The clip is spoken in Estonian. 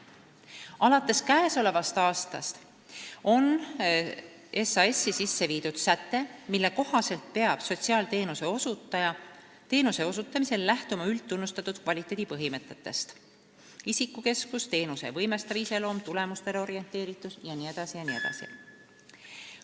Alates käesolevast aastast on SHS-i sisse viidud säte, mille kohaselt peab sotsiaalteenuse osutaja lähtuma üldtunnustatud kvaliteedipõhimõtetest: isikukesksus, teenuse võimestav iseloom, tulemustele orienteeritus jne.